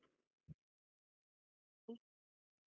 .